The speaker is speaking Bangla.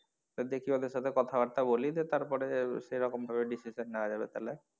তো দেখি ওদের সাথে কথা বার্তা বলি তারপরে সেরকমভাবে decision নেওয়া যাবে পরে।